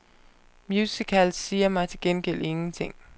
Musicals siger mig til gengæld ingenting.